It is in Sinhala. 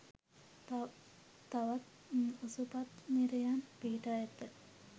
තවත් ඔසුපත් නිරයන් පිහිටා ඇත.